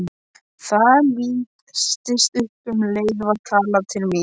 Það lýstist upp og um leið var talað til mín.